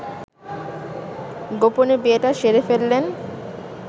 গোপনে বিয়েটা সেরে ফেললেন